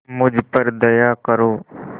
मुझ पर दया करो